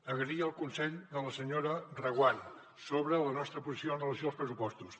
agrair el consell de la senyora reguant sobre la nostra posició amb relació als pressupostos